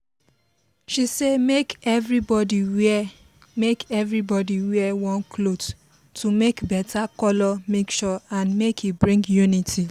she say make everybody wear make everybody wear one cloth to make better color mixture and make e bring unity